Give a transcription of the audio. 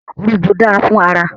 Òrom̀bó dáa fún ara.